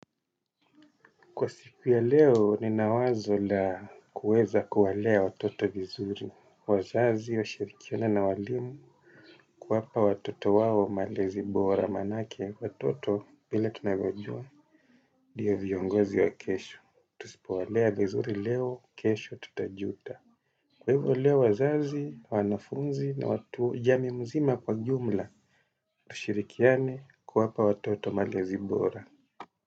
Kwa siku ya leo, ninawazo la kuweza kuwalea watoto vizuri, wazazi, washirikiane na walimu, kuwapa watoto wao malezi bora manake, watoto vile tunavyojua, ndiyo viongozi wa kesho. Tusipowalea vizuri leo, kesho tutajuta. Kwa hivyo leo, wazazi, wanafunzi na watu jamii mzima kwa jumla, tushirikiane kuwapa watoto malezi bora.